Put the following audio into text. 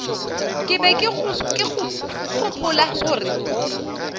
ke be ke gopola gore